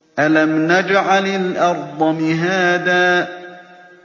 أَلَمْ نَجْعَلِ الْأَرْضَ مِهَادًا